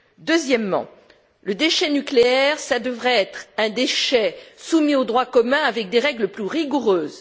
Deuxièmement, le déchet nucléaire devrait être un déchet soumis au droit commun avec des règles plus rigoureuses.